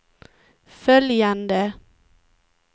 följande